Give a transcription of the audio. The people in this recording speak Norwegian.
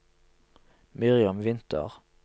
Miriam Winther